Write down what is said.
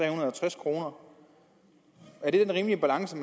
og halvtreds kroner er det den rimelige balance